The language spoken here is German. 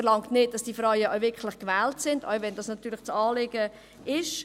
Verlangt ist nicht, dass Frauen auch wirklich gewählt werden, selbst wenn dies das Anliegen ist.